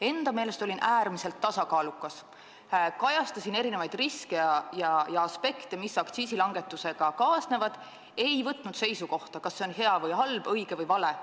Enda meelest olin äärmiselt tasakaalukas, kajastasin erinevaid riske ja aspekte, mis aktsiisilangetusega kaasnevad, ei võtnud seisukohta, kas see on hea või halb, õige või vale.